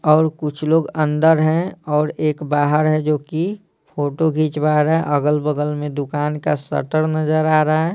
और कुछ लोग अंदर हैं और एक बाहर है जो कि फोटो खींचवा रहा है अगल-बगल में दुकान का शटर नजर आ रहा है।